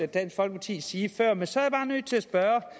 dansk folkeparti sige før men så er jeg bare nødt til at spørge